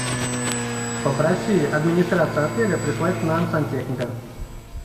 попроси администрацию отеля прислать к нам сантехника